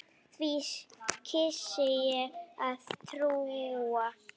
Því kýs ég að trúa.